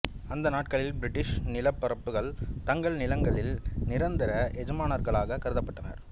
அந்த நாட்களில் பிரிட்டிஷ் நிலப்பிரபுக்கள் தங்கள் நிலங்களில் நிரந்தர எஜமானர்களாகக் கருதப்பட்டனர்